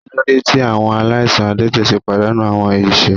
Kilode ti awọn alaisan adẹtẹ ṣe padanu awọn ẹsẹ?